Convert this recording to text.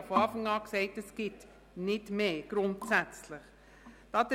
Ich sagte von Anfang an, es gäbe grundsätzlich nicht mehr.